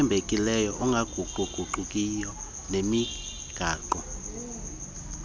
othembekileyo ongaguquguqiyo nonemigaqo